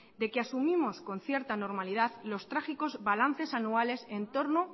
de que asumimos con cierta normalidad los trágicos balances anuales en torno